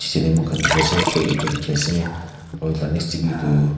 piche teh moi khan dikhi ase feh ekta dikhi ase hol kanak sa be tu.